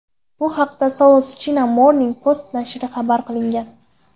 Bu haqda South China Morning Post nashri xabar qilgan .